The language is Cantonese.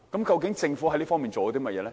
究竟政府在這方面做了甚麼？